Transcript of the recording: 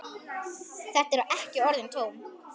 Þetta eru ekki orðin tóm.